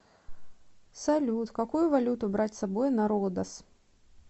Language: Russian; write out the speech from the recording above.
салют какую валюту брать с собой на родос